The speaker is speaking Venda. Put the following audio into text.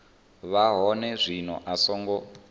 vha hone zwino a songo